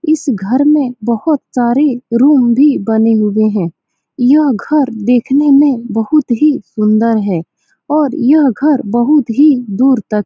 इस घर में बोहोत सारे रूम भी बने हुए है यह घर देखने में बहुत ही सुन्दर है और यह घर बहुत ही दूर तक --